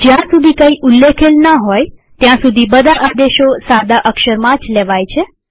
જ્યાં સુધી કઈ ઉલ્લેખેલ ન હોય ત્યાં સુધી બધા આદેશો સાદા અક્ષરમાં જ લેવાય છે